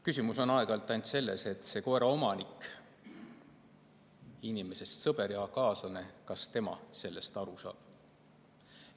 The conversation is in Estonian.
Küsimus on teinekord ainult selles, kas koera omanik, inimesest sõber ja kaaslane, sellest aru saab.